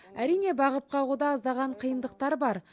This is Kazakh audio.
әрине бағып қағуда аздаған қиындықтар бар